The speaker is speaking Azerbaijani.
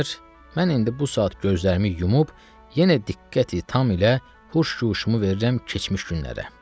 mən indi bu saat gözlərimi yumub, yenə diqqəti tam ilə huş-guşumu verirəm keçmiş günlərə.